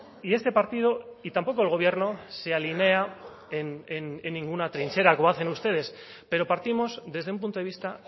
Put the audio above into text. y este partido y tampoco el gobierno se alinea en ninguna trinchera como hacen ustedes pero partimos desde un punto de vista